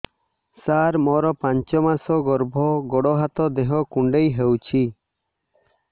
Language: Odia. ସାର ମୋର ପାଞ୍ଚ ମାସ ଗର୍ଭ ଗୋଡ ହାତ ଦେହ କୁଣ୍ଡେଇ ହେଉଛି